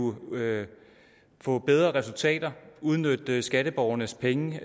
få bedre resultater og udnytte skatteborgernes penge